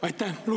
Aitäh!